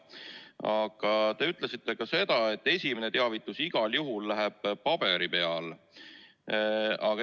Aga te ütlesite ka seda, et esimene teavitus läheb igal juhul paberi peal.